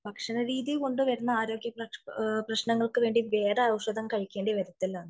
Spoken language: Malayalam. ഭക്ഷണ രീതികൊണ്ട് വരുന്ന ആരോഗ്യ പ്രശ്നങ്ങൾക്ക് വേണ്ടി വേറെ ഔഷധം കഴിക്കേണ്ടി വരില്ല